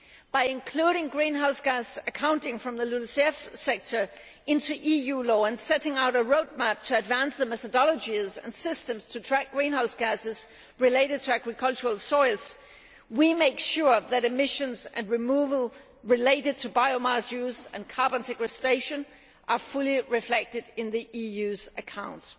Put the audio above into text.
By including greenhouse gas accounting from the LULUCF sector into EU law and setting out a roadmap to advance the methodologies and systems to track greenhouse gases related to agricultural soils, we are making sure that emissions and removal related to biomass use and carbon sequestration are fully reflected in the EU's accounts.